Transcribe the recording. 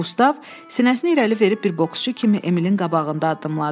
Qustav sinəsini irəli verib bir boksçu kimi Emil'in qabağında addımladı.